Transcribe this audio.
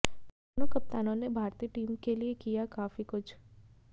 दोनों कप्तानों ने भारतीय टीम के लिये किया काफी कुछ